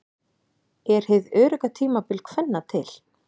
Er hið örugga tímabil kvenna til?